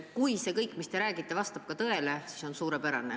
Kui see kõik, mis te räägite, vastab ka tõele, siis on suurepärane.